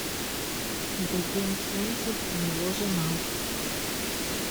гоген солнцев и его жена